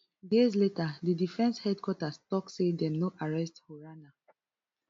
days later di defence headquarters tok say dem no arrest haruna